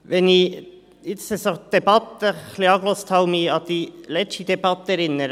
Wenn ich nun der Debatte zugehört habe und mich an die letzte Debatte erinnere: